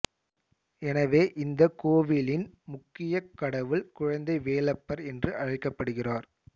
எனவே இந்த கோவிலின் முக்கிய கடவுள் குழந்தை வேலப்பர் என்று அழைக்கப்படுகிறார்